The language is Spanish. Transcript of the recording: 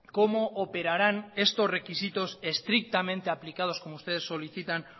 cómo operarán estos requisitos estrictamente aplicados como ustedes solicitan